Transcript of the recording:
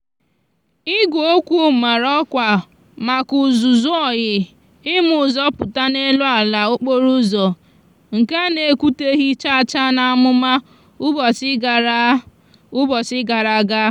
igweokwu mara òkwa maka úzúzú oyi ima úzò púta n'elu ala okporo úzò nkea a naekwuteghi chacha na amúma ubochi gara ubochi gara aga.